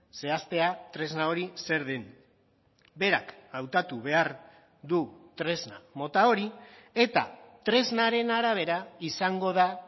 zehaztea tresna hori zer den berak hautatu behar du tresna mota hori eta tresnaren arabera izango da